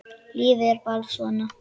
Lífið er bara svona.